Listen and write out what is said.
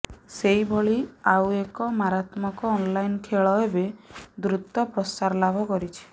ସେଇଭଳି ଆଉଏକ ମାରାତ୍ମକ ଅନଲାଇନ ଖେଳ ଏବେ ଦୃତ ପ୍ରସାର ଲାଭ କରିଛି